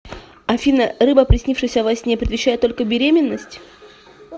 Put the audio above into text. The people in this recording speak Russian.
афина рыба приснившаяся во сне предвещает только беременность